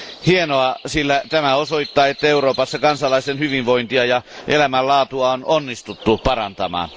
Hienoa, sillä tämä osoittaa, että Euroopassa kansalaisten hyvinvointia ja elämänlaatua on onnistuttu parantamaan.